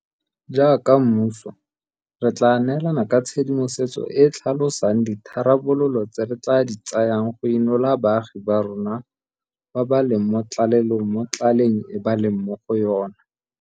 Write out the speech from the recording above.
Jaaka mmuso re tla neelana ka tshedimosetso e e tlhalosang ditharabololo tse re tla di tsayang go inola baagi ba rona ba ba leng mo tlalelong mo tlaleng e ba leng mo go yona.